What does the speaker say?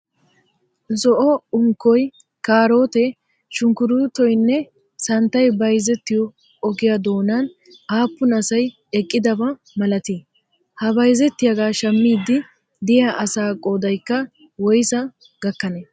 Zo"o unkkoy, kaarootee aunkkuruutoyinne santtayi bayizettiyoo ogiyaa doonan aappun asay eqqidaba malati? Ha bayizettiyaaga shammiddi diya asaa qoodayikka woyisaa gakkanee?